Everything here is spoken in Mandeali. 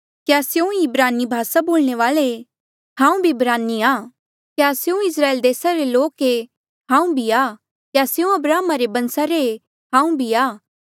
क्या स्यों ईं इब्रानी भासा बोलणे वाल्ऐ हांऊँ भी इब्रानी आ क्या स्यों इस्राएल देसा रे लोक ये हांऊँ भी आ क्या स्यों अब्राहमा रे बंसा रे ऐें हांऊँ भी आ